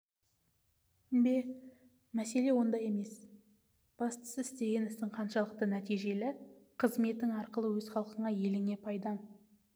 бе мәселе онда емес бастысы істеген ісің қаншалықты нәтижелі қызметің арқылы өз халқыңа еліңе пайдаң